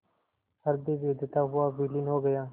हृदय वेधता हुआ विलीन हो गया